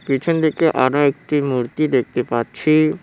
পিছন দিকে আরও একটি মূর্তি দেখতে পাচ্ছি।